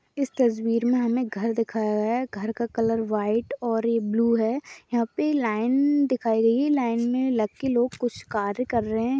इस तस्वीर में हमे घर दिखाया है घर का कलर वाइट और ब्लू है यहाँ पे लाइन दिखाई गयी है लाइन में लग के कुछ कार्य कर रहे हैं।